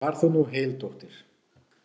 Far þú nú heil, dóttir.